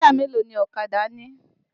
Táyà mélòó ni ọ̀kadà ní?